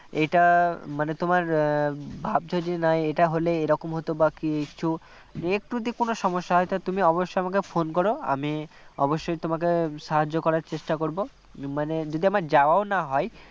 এটা মানে তোমার ভাবছো যে না এটা হলে এ রকম হত৷ বা কিছু একটু যদি কোনও সমস্যা হয় তবে অবশ্যই আমাকে phone করো আমি অবশ্যই তোমাকে সাহায্য করার চেষ্টা করবমানে যদি আমার যাওয়াও না হয়